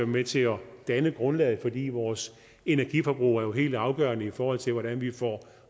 med til at danne et grundlag fordi vores energiforbrug jo er helt afgørende i forhold til hvordan vi får